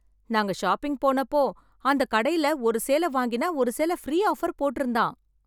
நாங்க ஷாப்பிங் போனப்போ அந்த கடையில ஒரு சேலை வாங்கினா ஒரு சேலை ப்ரீ ஆஃபர் போட்டு இருந்தான்.